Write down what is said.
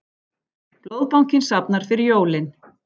Blóðbankinn safnar fyrir jólin